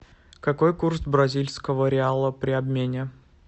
какой курс бразильского реала при обмене